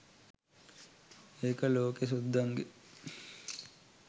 ඒක ලෝකෙ සුද්දන්ගෙ